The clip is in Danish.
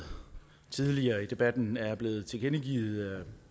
tidligere i debatten er blevet tilkendegivet